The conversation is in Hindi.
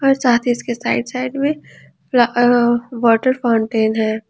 और साथ ही इसके साइड साइड में वॉटर फाउंटेन है।